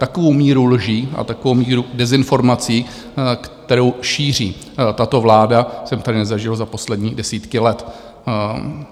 Takovou míru lží a takovou míru dezinformací, kterou šíří tato vláda, jsem tady nezažil za poslední desítky let.